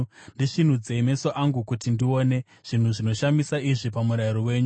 Ndisvinudzei meso angu kuti ndione. Zvinhu zvinoshamisa zviri pamurayiro wenyu.